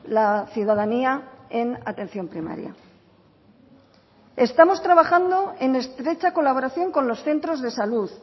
la ciudadanía en atención primaria estamos trabando en estrecha colaboración con los centros de salud